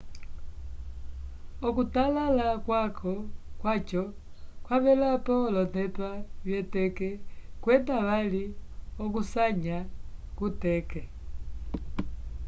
okutalala kwaco kwavelapo olonepa vyeteke kwenda vali okusanya kuteke